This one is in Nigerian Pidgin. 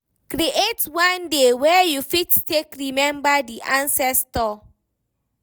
Create one day wey you fit take remember di ancestor